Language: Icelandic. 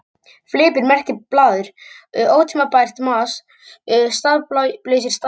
Fleipur merkir blaður, ótímabært mas, staðlausir stafir.